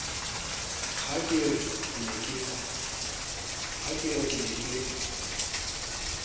ha ke re ke ne